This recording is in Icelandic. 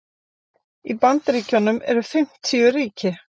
Í Bandaríkjunum eru fimmtíu ríki.